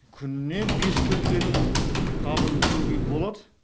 күніне бес көрпенің қабын тігуге болады